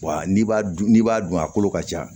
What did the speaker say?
Wa n'i b'a dun n'i b'a dun a kolo ka ca